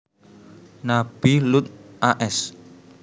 Nabi Luth a s